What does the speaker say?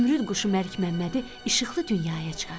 Zümrüd quşu Məlik Məmmədi işıqlı dünyaya çıxartdı.